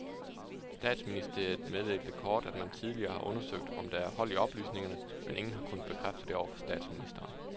Statsministeriet meddelte kort, at man tidligere har undersøgt, om der er hold i oplysningerne, men ingen har kunnet bekræfte det over for statsministeren.